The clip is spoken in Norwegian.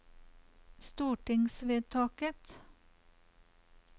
stortingsvedtaket